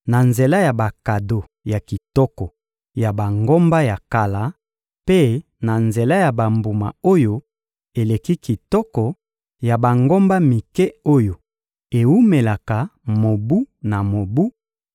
na nzela ya bakado ya kitoko ya bangomba ya kala, mpe na nzela ya bambuma oyo eleki kitoko ya bangomba mike oyo ewumelaka mobu na mobu;